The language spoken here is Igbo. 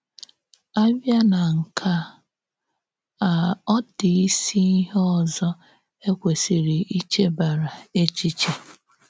À bịa na nke a, a, ọ dị ísì íhè òzò e kwèsìrì ìchèbàrà èchìché.